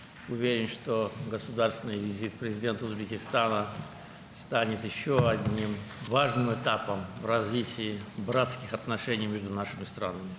Əminəm ki, Özbəkistan Prezidentinin dövlət səfəri ölkələrimiz arasında qardaşlıq münasibətlərinin inkişafında daha bir mühüm mərhələ olacaq.